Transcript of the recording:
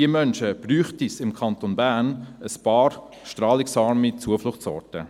Für diese Menschen bräuchte es im Kanton Bern eigentlich strahlungsarme Zufluchtsorte.